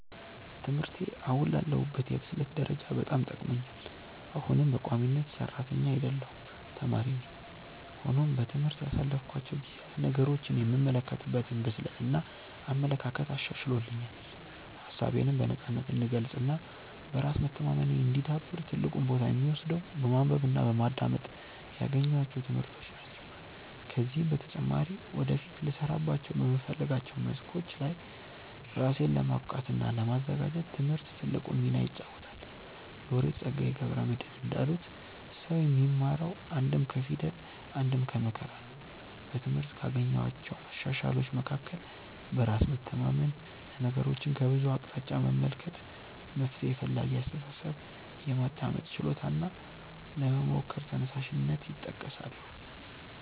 ትምህርቴ አሁን ላለሁበት የብስለት ደረጃ በጣም ጠቅሞኛል። አሁንም በቋሚነት ሰራተኛ አይደለሁም ተማሪ ነኝ። ሆኖም በትምህርት ያሳለፍኳቸው ጊዜያት ነገሮችን የምመለከትበትን ብስለት እና አመለካከት አሻሽሎልኛል። ሀሳቤነም በነፃነት እንድገልፅ እና በራስ መተማመኔ እንዲዳብር ትልቁን ቦታ የሚወስደው በማንበብ እና በማዳመጥ ያገኘኋቸው ትምህርቶች ናቸው። ከዚህም በተጨማሪ ወደፊት ልሰራባቸው በምፈልጋቸው መስኮች ላይ ራሴን ለማብቃት እና ለማዘጋጀት ትምህርት ትልቁን ሚና ይጫወታል። ሎሬት ፀጋዬ ገብረ መድህን እንዳሉት "ሰው የሚማረው አንድም ከፊደል አንድም ከመከራ ነው"።በትምህርት ካገኘኋቸው መሻሻሎች መካከል በራስ መተማመን፣ ነገሮችን ከብዙ አቅጣጫ መመልከት፣ መፍትሔ ፈላጊ አስተሳሰብ፣ የማዳመጥ ችሎታ እና ለመሞከር ተነሳሽነት ይጠቀሳሉ።